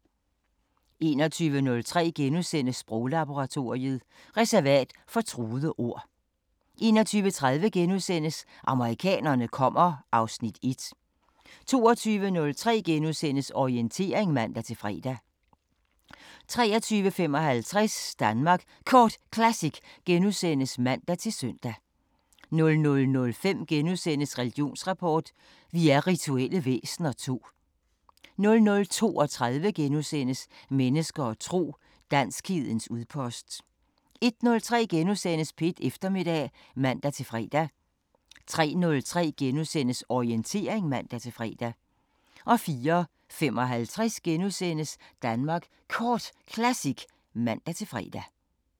21:03: Sproglaboratoriet: Reservat for truede ord * 21:30: Amerikanerne kommer (Afs. 1)* 22:03: Orientering *(man-fre) 23:55: Danmark Kort Classic *(man-søn) 00:05: Religionsrapport: Vi er rituelle væsener II * 00:32: Mennesker og tro: Danskhedens udpost * 01:03: P1 Eftermiddag *(man-fre) 03:03: Orientering *(man-fre) 04:55: Danmark Kort Classic *(man-fre)